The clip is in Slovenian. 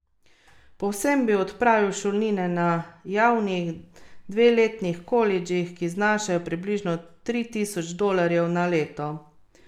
Povsem bi odpravil šolnine na javnih dveletnih kolidžih, ki znašajo približno tri tisoč dolarjev na leto.